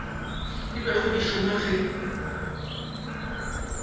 di bego di šoma ge